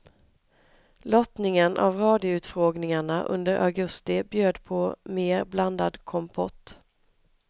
Lottningen av radioutfrågningarna under augusti bjöd på mer blandad kompott.